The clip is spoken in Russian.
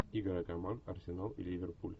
игра команд арсенал и ливерпуль